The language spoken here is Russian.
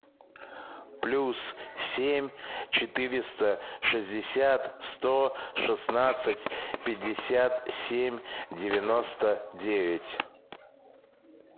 плюс семь четыреста шестьдесят сто шестнадцать пятьдесят семь девяносто девять